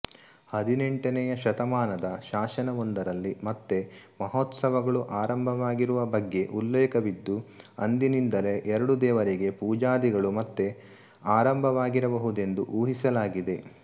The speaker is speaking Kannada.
ಹದಿನೆಂಟನೆಯ ಶತಮಾನದ ಶಾಸನವೊಂದರಲ್ಲಿ ಮತ್ತೆ ಮಹೋತ್ಸವಗಳು ಆರಂಭವಾಗಿರುವ ಬಗ್ಗೆ ಉಲ್ಲೇಖವಿದ್ದು ಅಂದಿನಿಂದಲೇ ಎರಡೂ ದೇವರಿಗೆ ಪೂಜಾದಿಗಳು ಮತ್ತೆ ಆರಂಭವಾಗಿರಬಹುದೆಂದು ಊಹಿಸಲಾಗಿದೆ